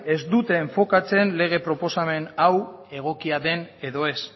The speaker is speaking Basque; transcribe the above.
ez duten enfokatzen lege proposamen hau egokia den edo ez